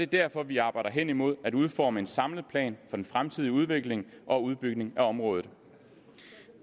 derfor vi arbejder hen imod at udforme en samlet plan den fremtidige udvikling og udbygning af området